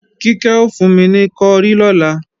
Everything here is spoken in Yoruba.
Kíkẹ́ ò fún mi ní kọrí lọ́la